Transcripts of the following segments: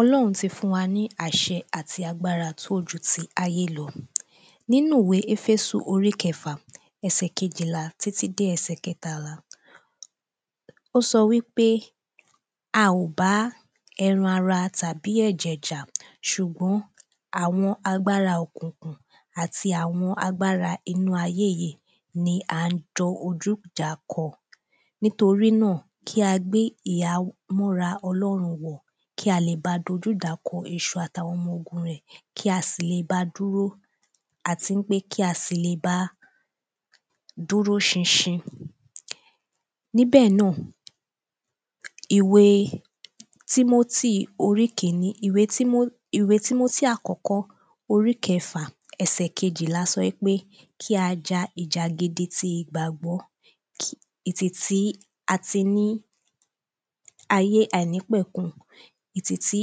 Ọlọ́run ti fún wa ní àṣẹ àti agbára tó ju ti ayé lọ nínú ìwé ẹfésù orí kẹfà ẹsẹ kejìlá títí dé ẹsẹ kẹtàlá. Ó sọ wípé a ò bá ẹran ara tàbí ẹ̀jẹ̀ jà ṣùgbọ́n àwọn agbára òkùnkùn àti àwọn agbára inú ayé yìí ni à ń jọjú ìjà kọ nítorí náà kí a gbé ìhámọ́ra ọlọ́run wọ̀ kí a lè bá dojú ìjà kọ èṣù àtàwọn ọmọ ogun rẹ̀ kí a sì lè bá dúró àti wípé kí a sì lè bá dúró ṣinṣin. Níbẹ̀ náà ìwé tímótì orí kíní ìwé tímó ìwé tímótì orí àkọ́kọ́ orí kẹfà ẹsè kejìlá sọ wípé kí a ja ìjà gidi ti ìgbàgbọ́ ìtì tí a ti ní ayé àìnípẹ̀kun ìtì tí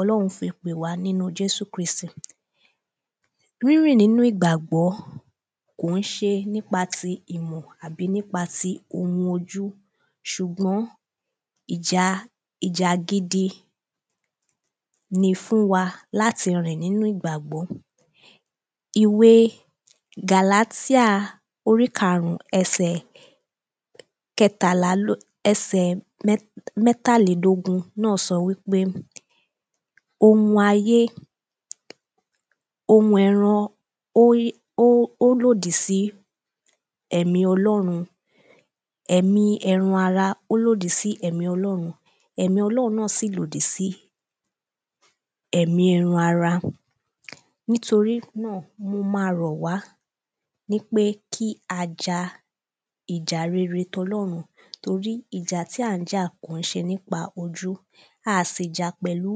ọlọ́run fi pè wá nínú jésù kristì. Rínrìn nínú ìgbàgbọ́ kò ń ṣe nípa ti ìmọ̀ tàbí nípa ti ohun ṣùgbọ́n ìjà ìjà gidi ni fún wa láti rìn nínú ìgbàgbọ́. Ìwé gàlátíà orí karùn ẹsè kẹtàlá ẹsẹ̀ mẹ́tàlédógún ló sọ wípé ohun ayé ohun ẹran ló lòdì sí ẹ̀mí ọlọ́run èmí ẹran ara ó lòdì sí ẹ̀mí ọlọ́run ẹ̀mí ọlọ́run náà sí lòdì sí èmí ẹran ara nítorí náà mo má rọ̀ wá nípé kí a ja ìjà rere tọlúrun torí ìjà tí à ń jà kìí ṣe nípa tojú a sì jà pẹ̀lú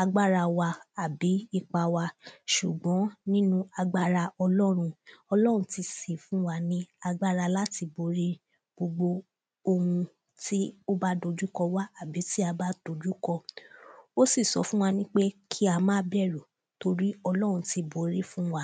agbára wa tàbí ipa wa ṣùgbọ́n nínú agbára ọlọ́run ọlọ́run sì tí fún wa ní agbára láti borí ohun gbogbo ohun tí ó bá dojú ko wá àbí tí a bá dojú kọ ó sì sọ fún wa nípé kí a má bẹ̀rù torí ọlọ́run ti borí fún wa.